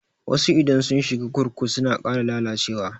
Wasu idan sun shiga kurkuku suna ƙara lalacewa.